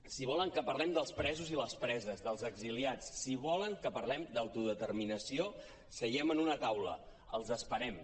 si vo·len que parlem dels presos i les preses dels exiliats si volen que parlem d’autodeter·minació seiem en una taula els esperem